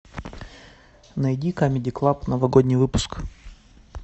найди камеди клаб новогодний выпуск